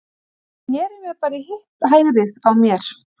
Ég sneri mér bara í hitt hægrið á mér.